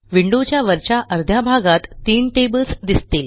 विंडोच्या वरच्या अर्ध्या भागात तीन टेबल्स दिसतील